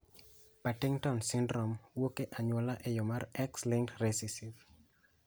Partington syndrome wuok e anyuola e yo mar X linked recessive